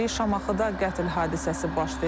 Şamaxıda qətl hadisəsi baş verib.